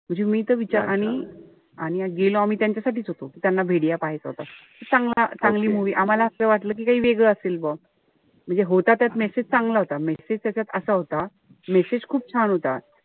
म्हणजे मी त विचार आणि आणि गेलो आम्ही त्यांच्यासाठीच होतो. त्यांना पाहायचा होता. चांगला चांगली movie आम्हाला असं वाटलं कि काई वेगळं असेल. म्हणजे होता त्यात message चांगला होता. Message त्याच्यात असा होता, message खूप छान होता.